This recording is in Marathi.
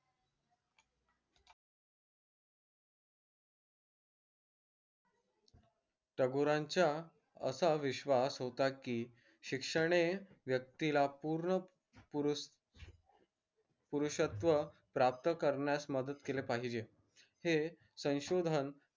टागोरांच्या असं विश्वास होता की शिक्षणे व्यक्तीला पूर्ण पुरुषत्व प्राप्त करण्यास मदत केले पाहिजे हे संशोधन